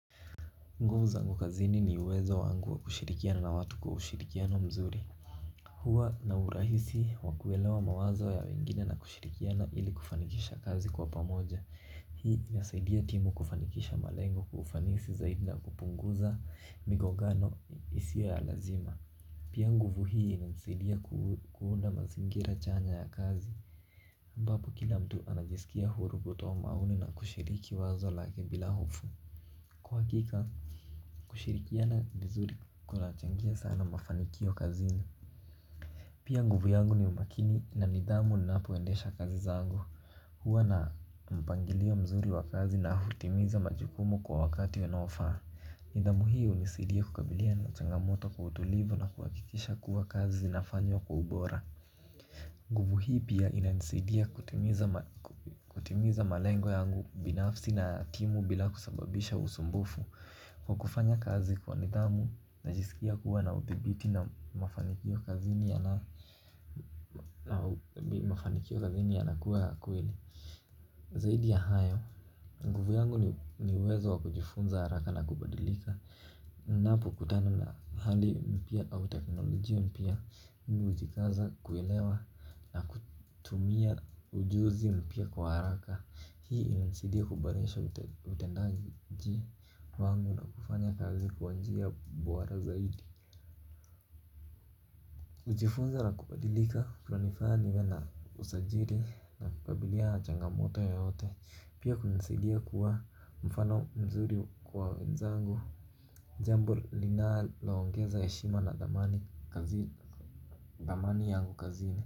Nguvu zangu kazini ni uwezo wangu wa kushirikiana na watu kwa ushirikiano mzuri. Huwa na urahisi wa kuelewa mawazo ya wengine na kushirikiana ili kufanikisha kazi kwa pamoja. Hii inasaidia timu kufanikisha malengo kwa ufanisi zaidi na kupunguza migongano isiyo ya lazima. Pia nguvu hii hunisaidia kuunda mazingira chanya ya kazi. Ambapo kila mtu anajisikia huru kutoa maoni na kushiriki wazo lake bila hofu. Kwa hakika kushirikiana vizuri kunachangia sana mafanikio kazini. Pia nguvu yangu ni umakini na nidhamu ninapoendesha kazi zangu. Huwa na mpangilio mzuri wa kazi na hutimiza majukumu kwa wakati unaofaa. Nidhamu hii hunisaidia kukabiliana na changamoto kwa utulivu na kuhakikisha kuwa kazi zinafanywa kwa ubora. Nguvu hii pia inanisaidia kutimiza malengo yangu binafsi na timu bila kusababisha usumbufu. Kwa kufanya kazi kwa nidhamu najisikia kuwa na udhibiti na mafanikio kazini yanakuwa ya kweli. Zaidi ya hayo, nguvu yangu ni uwezo wa kujifunza haraka na kubadilika. Ninapokutana na hali mpya au teknolojia mpya mi hujikaza kuelewa na kutumia ujuzi mpya kwa haraka. Hii inanisaidia kuboresha utendaji wangu na kufanya kazi kwa njia bora zaidi. Hujifunza na kubadilika kunanifanya niwe na usajili na kukabiliana na changamoto yoyote. Pia hunisaidia kuwa mfano mzuri kwa wenzangu jambo linaloongeza heshima na thamani kazini thamani yangu kazini.